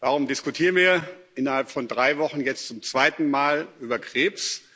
Warum diskutieren wir innerhalb von drei Wochen jetzt zum zweiten Mal über Krebs?